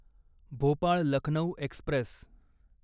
Bhopal Lucknow Express